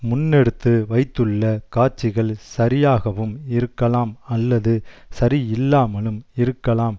முன்னெடுத்து வைத்துள்ள காட்சிகள் சரியாகவும் இருக்கலாம் அல்லது சரியில்லாமலும் இருக்கலாம்